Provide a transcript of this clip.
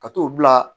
Ka t'o bila